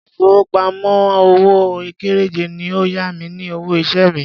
Ilé ìfowópamọ́ òwò kéréje ni ó yá mi ní owó iṣẹ́ mi.